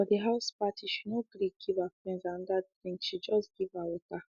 for the house party she no gree give her friend another drinkshe just give her water